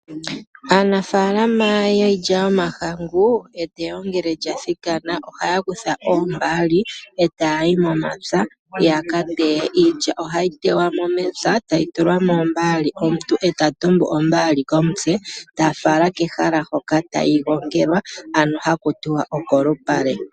Aanafaalama yiilya yomahangu eteyo ngele lya thikana, ohaya kutha oombaali e taya yi momapya ya ka teye. Iilya ohayi teywa mo mepya tayi tulwa moombaali. Omuntu e ta tumbu ombaali komutse e ta fala kehala hoka tayi gongelwa , ano haku tiwa okolupale.